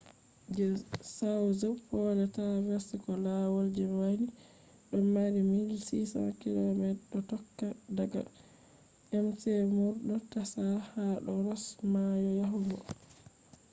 je south pole traverse ko lawal je wani dodo mari 1600 km do tokka daga mcmurdo tasha ha do ross mayo yahugo pole